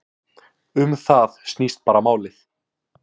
Um það snýst bara málið.